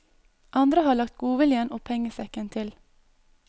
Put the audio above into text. Andre har lagt godviljen og pengesekken til.